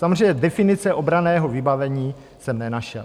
Samozřejmě definice obranného vybavení jsem nenašel.